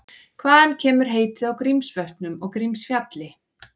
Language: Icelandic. Hvaðan kemur heitið á Grímsvötnum og Grímsfjalli?